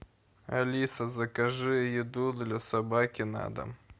алиса закажи еду для собаки на дом